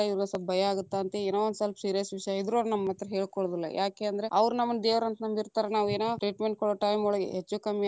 ಇವ್ರುಗು ಸ್ವಲ್ಪ ಭಯಾ ಆಗತ್ತ ಅಂತ ಏನೋ ಸ್ವಲ್ಪ serious ವಿಷಯಾ ಇದ್ರು ಅವ್ರ ನಮ್ಮ ಹತ್ರಾ ಹೇಳಕೊಳೊದಿಲ್ಲಾ, ಯಾಕೆ ಅಂದ್ರ ಅವ್ರ ನಮ್ಮನ್ನ ದೇವರ ಅಂತ ನಂಬಿತಾ೯ರ ನಾವ್‌ ಏನೊ treatment ಕೊಡೊ time ಒಳಗೆ ಹೆಚ್ಚು ಕಮ್ಮಿ.